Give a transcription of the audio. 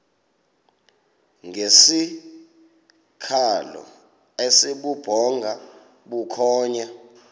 ngesikhalo esibubhonga bukhonya